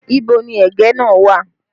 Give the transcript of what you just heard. Ibo ni ẹ̀gẹ́ náà wà?